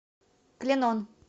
клинон